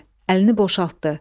Əlini boşaltdı.